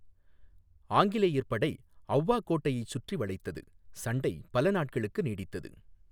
ஆங்கிலேயர் படை ஔவா கோட்டையைச் சுற்றி வளைத்தது, சண்டை பல நாட்களுக்கு நீடித்தது.